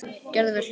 Gerði vel.